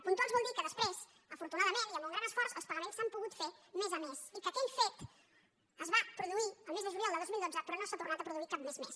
puntuals vol dir que després afortunadament i amb un gran esforç els pagaments s’han pogut fer mes a mes i que aquell fet es va produir el mes de juliol de dos mil dotze però no s’ha tornat a produir cap mes més